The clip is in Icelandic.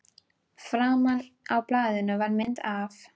Framan á blaðinu var mynd- af